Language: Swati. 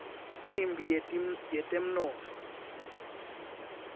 imphi yetemnotfo